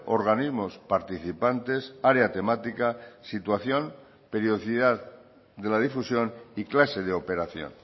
organismos participantes área temática situación periodicidad de la difusión y clase de operación